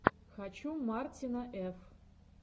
хочу мартина ф